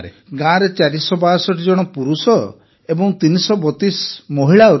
ଗାଁରେ ୪୬୨ ଜଣ ପୁରୁଷ ଏବଂ ୩୩୨ ମହିଳା ରହିଛନ୍ତି